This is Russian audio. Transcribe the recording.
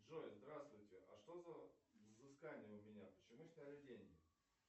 джой здравствуйте а что за взыскания у меня почему сняли деньги